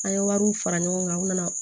An ye wariw fara ɲɔgɔn kan u nana